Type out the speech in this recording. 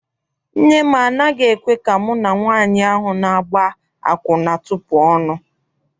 Nne m anaghị ekwe ka mụ na nwaanyị ahụ na-agba akwụna tupu ọnụ.